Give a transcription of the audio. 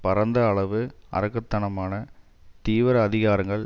பரந்த அளவு அரக்கத்தனமான தீவிர அதிகாரங்கள்